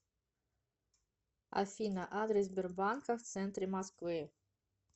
афина адрес сбербанка в центре москвы